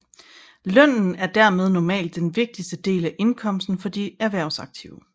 Lønnen er dermed normalt den vigtigste del af indkomsten for de erhvervsaktive